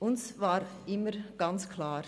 Für uns war immer ganz klar: